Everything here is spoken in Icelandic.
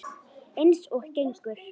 Eins og gengur.